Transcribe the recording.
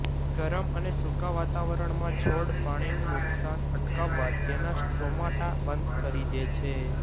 ગરમ અને સુકા વાતાવરણમાં છોડ પાણીનું નુકસાન અટકાવવા તેના સ્ટોમાટા બંધ કરી દે છે